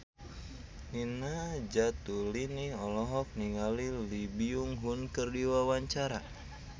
Nina Zatulini olohok ningali Lee Byung Hun keur diwawancara